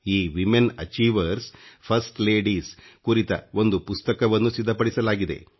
ಈ ತಿomeಟಿ ಚಿಛಿhieveಡಿs ಜಿiಡಿsಣ ಟಚಿಜies ಕುರಿತ ಒಂದು ಪುಸ್ತಕವನ್ನೂ ಸಿದ್ಧಪಡಿಸಲಾಗಿದೆ